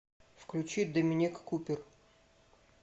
включи доминик купер